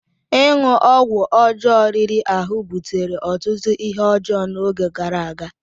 Ịṅụ ọgwụ ọjọọ riri ahụ butere ọtụtụ ihe ọjọọ n'oge gara aga.